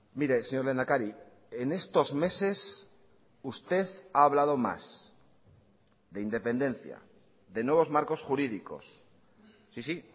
mire señor lehendakari en estos meses usted ha hablado más de independencia de nuevos marcos jurídicos sí sí